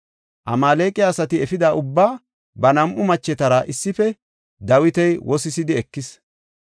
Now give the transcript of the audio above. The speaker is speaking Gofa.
Amaaleqa asati efida ubbaa, ba nam7u machetara issife Dawiti wosisidi ekis.